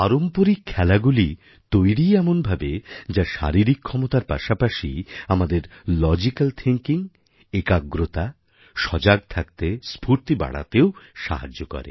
পারম্পরিক খেলাগুলি তৈরিই এমনভাবে যা শারীরিক ক্ষমতার পাশাপাশি আমাদের লজিক্যাল থিংকিং একাগ্রতা সজাগ থাকতে স্ফূর্তি বাড়াতেও সাহায্য করে